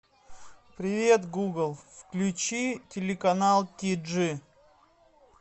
привет гугл включи телеканал тиджи